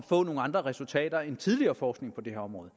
få nogle andre resultater end tidligere forskning på det her område